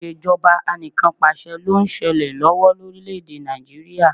Ìṣèjọba Anìkanpàṣẹ ló ń ṣẹlẹ̀ lọ́wọ́ lórílẹ̀ èdè Nàìjíríà